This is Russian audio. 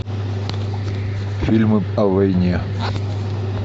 фильмы о войне